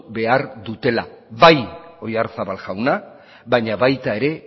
behar dutela bai oyarzabal jauna baina baita ere